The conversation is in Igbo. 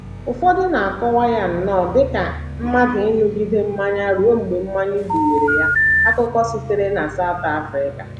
Ụfọdụ na - akọwa ya nnọọ dị ka mmadụ ịṅụgide mmanya ruo mgbe mmanya gbuwere ya. Akụkọ sitere na South Africa